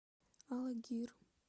алагир